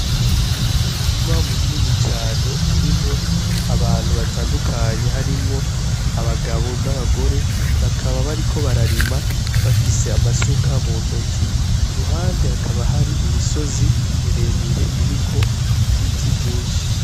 Umurima munini cane urimwo abantu batandukanye ,harimwo abagabo n'abagore, bakaba bariko bararima bafise amasuka muntoki, iruhande hakaba hari imisozi miremire iriko ibiti vyinshi.